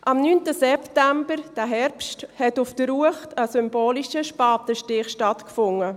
Am 9. September, diesen Herbst, fand auf der Uecht ein symbolischer Spatenstich statt.